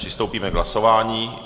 Přistoupíme k hlasování.